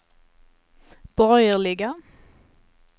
borgerliga